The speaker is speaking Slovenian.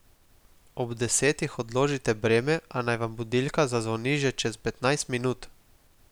Ob desetih odložite breme, a naj vam budilka zazvoni že čez petnajst minut.